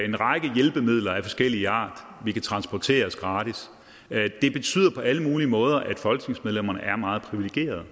en række hjælpemidler af forskellig art vi kan transporteres gratis det betyder på alle mulige måder at folketingsmedlemmerne er meget privilegerede